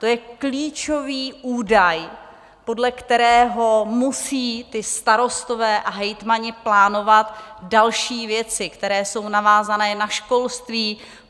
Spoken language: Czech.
To je klíčový údaj, podle kterého musí ti starostové a hejtmani plánovat další věci, které jsou navázané na školství.